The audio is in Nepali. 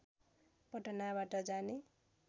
पटनाबाट जाने